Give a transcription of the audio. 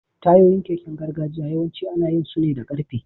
Tayoyin keken gargajiya yawanci ana yin su ne da ƙarfe.